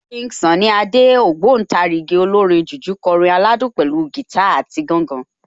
King Sunny Adé, ògbóǹtarìgì olórin jùjú kọrin aládùn pẹ̀lú gìtá àti gángan